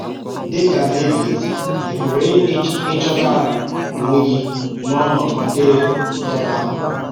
Dị ka Dẹvid, ị pụrụ ịchọta onwe gị n’ọnọdụ ndị tọrọ akpụ.